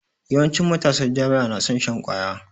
Yawancin matasar jami'a na son shan kwaya